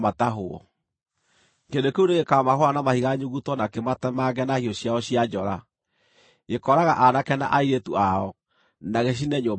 Kĩrĩndĩ kĩu nĩgĩkamahũũra na mahiga nyuguto na kĩmatemange na hiũ ciao cia njora; gĩkooraga aanake na airĩtu ao, na gĩcine nyũmba ciao.